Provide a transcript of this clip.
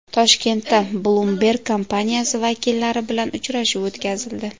Toshkentda Bloomberg kompaniyasi vakillari bilan uchrashuv o‘tkazildi.